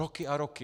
Roky a roky.